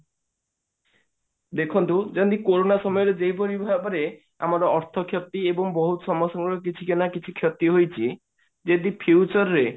ଦେଖନ୍ତୁ ଯେମିତି କୋରୋନା ସମୟରେ ଯେଉଁପରି ଭାବରେ ଆମର ଅର୍ଥ କ୍ଷତି ଏବଂ ବହୁତ ସମସ୍ତଙ୍କର କିଛି ନା କିଛି କ୍ଷତି ହୋଇଛି ଯଦି future ରେ